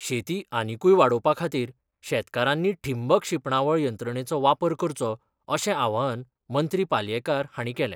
शेती आनिकूय वाडोवपा खातीर शेतकारांनी ठींबक शिंपणावळ यंत्रणंचो वापर करचो अशें आवाहन मंत्री पालयेंकार हांणी केलें.